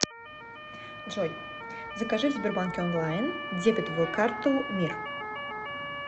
джой закажи в сбербанке онлайн дебетовую карту мир